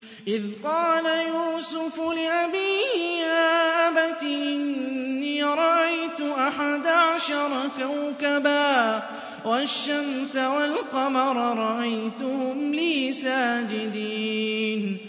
إِذْ قَالَ يُوسُفُ لِأَبِيهِ يَا أَبَتِ إِنِّي رَأَيْتُ أَحَدَ عَشَرَ كَوْكَبًا وَالشَّمْسَ وَالْقَمَرَ رَأَيْتُهُمْ لِي سَاجِدِينَ